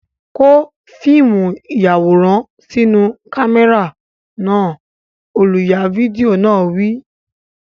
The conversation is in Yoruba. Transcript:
Kó fíìmù ìyàwòrán sínú kámẹ́rà náà! Olùya fídíò náà wí.